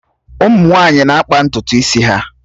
Ụmụ nwaanyị na-akpa ntutu isi ha